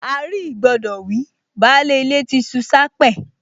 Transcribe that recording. À-rí-ìgbọdọ̀ wí, baálé ilé ti ṣu s’ápẹ́